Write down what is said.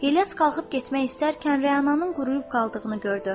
İlyas qalxıb getmək istəyərkən Rənanın quruyub qaldığını gördü.